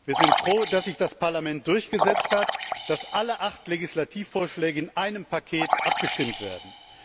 Wir sind froh, dass sich das Parlament durchgesetzt hat, so dass alle acht Legislativvorschläge in einem Paket abgestimmt werden.